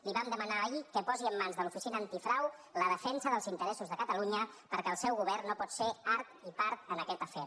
li vam demanar ahir que posi en mans de l’oficina antifrau la defensa dels interessos de catalunya perquè el seu govern no pot ser art i part en aquest afer